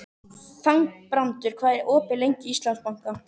Þangbrandur, hvað er opið lengi í Íslandsbanka?